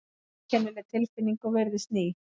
Einkennileg tilfinning og virðist ný.